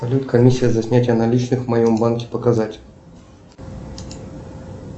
салют комиссия за снятие наличных в моем банке показать